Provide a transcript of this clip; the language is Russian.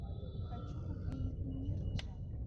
хочу увидеть нирджа